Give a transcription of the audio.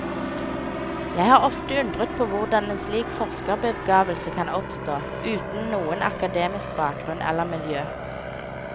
Jeg har ofte undret på hvordan en slik forskerbegavelse kan oppstå, uten noen akademisk bakgrunn eller miljø.